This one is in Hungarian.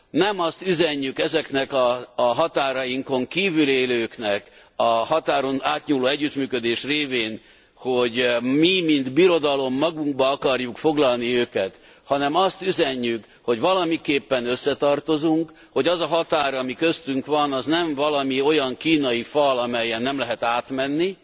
Nem azt üzenjük ezeknek a határainkon kívül élőknek, a határon átnyúló együttműködés révén, hogy mi mint birodalom magunkba akarjuk foglalni őket, hanem azt üzenjük, hogy valamiképpen összetartozunk, hogy az a határ, ami köztünk van, az nem valami olyan kínai fal, amelyen nem lehet átmenni,